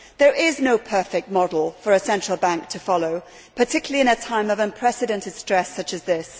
There is no perfect model for a central bank to follow, particularly in a time of unprecedented stress such as this.